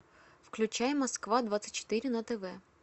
включай москва двадцать четыре на тв